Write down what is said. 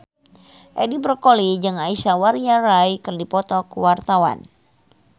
Edi Brokoli jeung Aishwarya Rai keur dipoto ku wartawan